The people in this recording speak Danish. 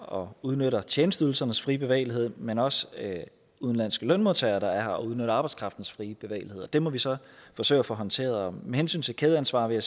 og udnytter tjenesteydelsernes frie bevægelighed men også udenlandske lønmodtagere der er her og udnytter arbejdskraftens frie bevægelighed det må vi så forsøge at få håndteret med hensyn til kædeansvar vil